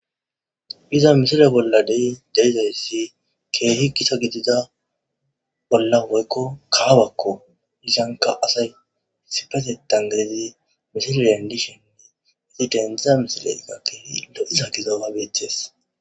iza misile bolladey deizayssi keehi kisa gidida bolla woykko kawabakko isanka asay sipese tangadizi misile andishoninne hesidendzza misilega keehi lo7isa giza abetes